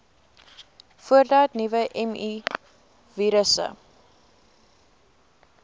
voordat nuwe mivirusse